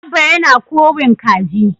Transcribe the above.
Abba yana kowin kaji.